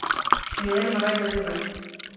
Við erum að ræða við þá.